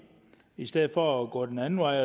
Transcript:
i stedet for at gå den anden vej